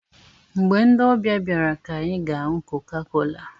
Mgbe ndị ọbịa bịara ka anyị ga-aṅụ kokakola